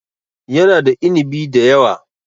Yana da inibi da yawa.